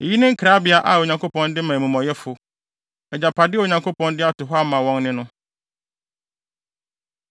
Eyi ne nkrabea a Onyankopɔn de ma amumɔyɛfo, agyapade a Onyankopɔn de ato hɔ ama wɔn ne no.”